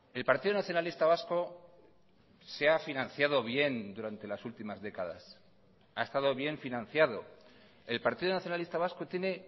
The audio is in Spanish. el partido nacionalista vasco se ha financiado bien durante las últimas décadas ha estado bien financiado el partido nacionalista vasco tiene